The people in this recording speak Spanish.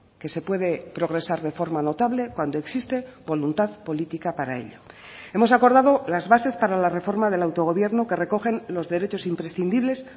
que se puede progresar de forma notable cuando existe voluntad política para ello hemos acordado las bases para la reforma del autogobierno que recogen los derechos imprescindibles